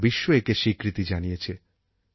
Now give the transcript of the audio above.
গোটা বিশ্ব একে স্বীকৃতি জানিয়েছে